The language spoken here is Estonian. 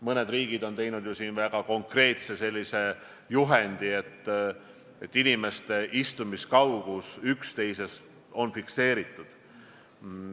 Mõned riigid on koostanud väga konkreetse juhendi, milles on fikseeritud, kui kaugel inimesed üksteisest peavad istuma.